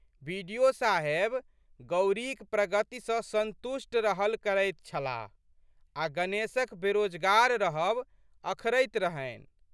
बि.डि.ओ.साहेब गौरीक प्रगति सँ संतुष्ट रहल करैत छलाह आ' गणेशक बेरोजगार रहब अखरैत रहनि।